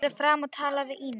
Farðu fram og talaðu við Ínu.